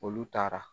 Olu taara